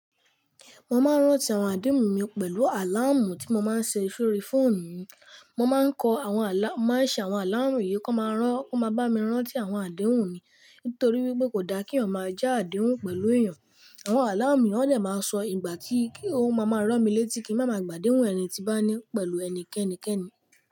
Mo máa ń rántí àwọn àdéhùn mi pẹ̀lú àláàmù tí mo máa ń ṣe sórí fóònù mi. Mo máa ń kọ àwọn alarm, màá ṣe àwọn àláàmù yìí kí wọ́n máa rán, wọ́n máa bá mi rántí àwọn àdéhùn mi. Nítorí wípé kò da kí ọmọ ẹ ja àdéhùn pẹ̀lú èèyàn. Àwọn àláàmù mi ó lè máa sọ ìgbà tí i, kí ohun máa máa rán mi létí kí màá máa gbàdéhùn ẹni tí bá ní pẹ̀lú ẹnikẹ́ni kẹ́ni.